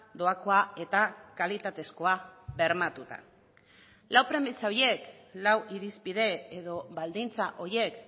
doakoa eta kalitatezkoa bermatuta lau premisa horiek lau irizpide edo baldintza horiek